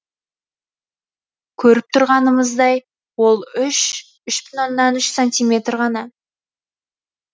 көріп тұрғанымыздай ол үш үш бүтін оннан үш сантиметр ғана